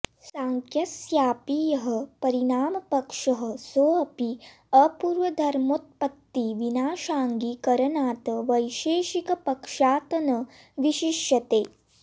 सांख्यस्यापि यः परिणामपक्षः सोऽपि अपूर्वधर्मोत्पत्तिविनाशाङ्गीकरणात् वैशेषिकपक्षात् न विशिष्यते